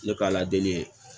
Ne ka ala deli ye